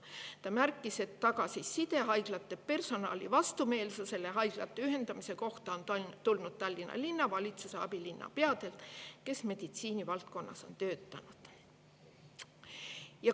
Ta märkis, et tagasiside, et haiglate personalile on haiglate ühendamine vastumeelne, on tulnud Tallinna abilinnapealt, kes on meditsiinivaldkonnas töötanud.